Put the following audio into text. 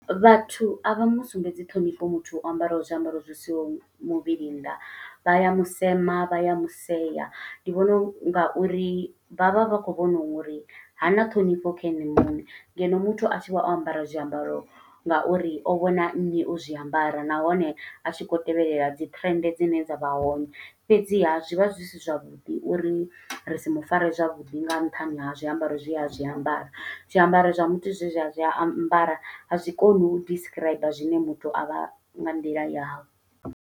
Vhathu a vha musumbedzi ṱhonifho muthu o ambaraho zwiambaro zwi siaho muvhili nnḓa. Vha ya musema, vha ya musea, ndi vhona nga uri vha vha vha khou vhona uri ha na ṱhonifho kha ene muṋe. Ngeno muthu a tshi vha o ambara zwiambaro nga uri o vhona nnyi o zwiambara. Nahone a tshi khou tevhelela dzi trend dzine dza vha hone, fhedziha zwi vha zwi si zwavhuḓi uri ri si mufare zwavhuḓi nga nṱhani ha zwiambaro zwe a zwi ambara. Zwiambaro zwa muthu zwe zwi a zwi ambara, a zwi koni u describe zwine muthu avha nga nḓila yavho.